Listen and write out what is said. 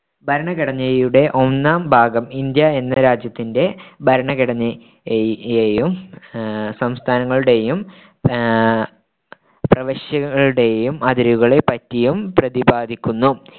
ഭരണഘടനയുടെ ഒന്നാം ഭാഗം ഇന്ത്യ എന്ന രാജ്യത്തിന്റെ ഭരണഘടനയെയും ആഹ് സംസ്ഥാനങ്ങളുടെയും ആഹ് പ്രവശ്യകളുടെയും അതിരുകളെ പറ്റിയും പ്രതിപാദിക്കുന്നു.